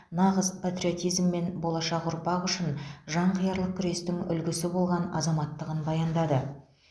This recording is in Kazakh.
нағыз патриотизм мен болашақ ұрпақ үшін жанқиярлық күрестің үлгісі болған азаматтығын баяндады